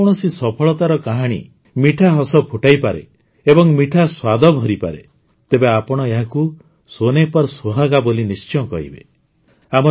ଯଦି କୌଣସି ସଫଳତାର କାହାଣୀ ମିଠା ହସ ଫୁଟାଇପାରେ ଏବଂ ମିଠା ସ୍ୱାଦ ଭରିପାରେ ତେବେ ଆପଣ ଏହାକୁ ସୋନେ ପର୍ ସୁହାଗା ବୋଲି ନିଶ୍ଚୟ କହିବେ